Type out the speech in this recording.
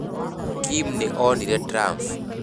Kim nĩ onire Trump.